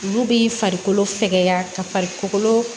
Olu bi farikolo sɛgɛn ka farikolo